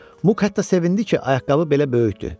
Muk hətta sevindi ki, ayaqqabı belə böyükdü.